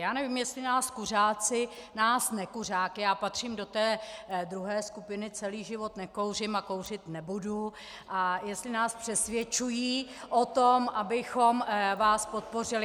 Já nevím, jestli nás kuřáci nás nekuřáky - já patřím do té druhé skupiny, celý život nekouřím a kouřit nebudu - a jestli nás přesvědčují o tom, abychom vás podpořili.